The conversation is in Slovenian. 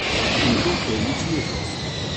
In to prvič letos.